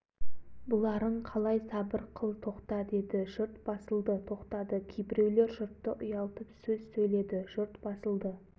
бүктелгендердің кейбіреулері жаншаға тоқтат аналарды деді жанша үстелге секіріп шығып қолын жайып басым дауыспен уа жамағат